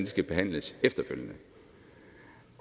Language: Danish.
skal behandles efterfølgende